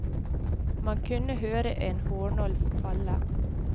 Man kunne høre en hårnål falle.